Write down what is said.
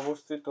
অবস্থিত